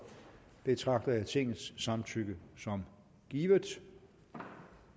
betragter jeg tingets samtykke som givet